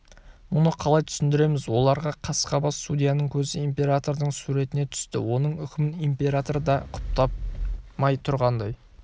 мұны қалай түсіндіреміз оларға қасқабас судьяның көзі императордың суретіне түсті оның үкімін император да құптамай тұрғандай